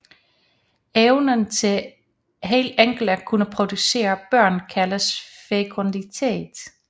Evnen til helt enkelt at kunne producere børn kaldes fekunditet